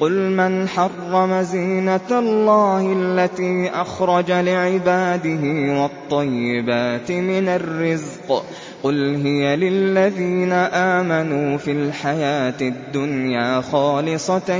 قُلْ مَنْ حَرَّمَ زِينَةَ اللَّهِ الَّتِي أَخْرَجَ لِعِبَادِهِ وَالطَّيِّبَاتِ مِنَ الرِّزْقِ ۚ قُلْ هِيَ لِلَّذِينَ آمَنُوا فِي الْحَيَاةِ الدُّنْيَا خَالِصَةً